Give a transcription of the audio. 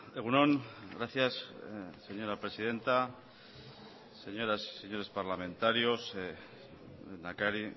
egun on gracias señora presidenta señoras y señores parlamentarios lehendakari